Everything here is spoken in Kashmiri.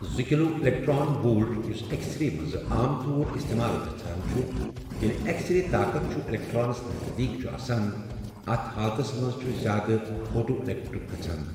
زٕ کِلو اِلؠکٹرٛان وولٹ، یۄس اؠکسرے مَنٛز عام طور اِستِمال گَژھان چھُ ییٚلہِ اؠکسرے طاقَتھ چھِ اِلؠکٹرانَس نَزدیٖکھ چھُ آسَان، اَتھ حالتھس مَنٛز چھُ زیٛادٕ پھوٹواؠلیکٹرک گَژھان